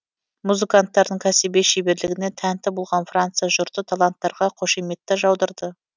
музыканттардың кәсіби шеберлігіне тәнті болған франция жұрты таланттарға қошеметті жаудырды